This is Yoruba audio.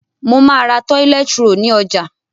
Mo má ra toilet roll ni ojà